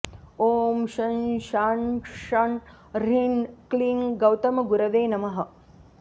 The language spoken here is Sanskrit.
ॐ शं शां षं ह्रीं क्लीं गौतमगुरवे नमः